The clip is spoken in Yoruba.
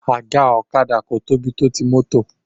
Àga ọ̀kadà kò tóbi tó ti mọ́tò